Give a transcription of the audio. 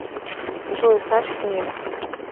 джой значит нет